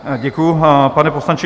Děkuji, pane poslanče.